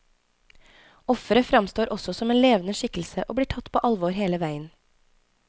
Offeret fremstår også som en levende skikkelse og blir tatt på alvor hele veien.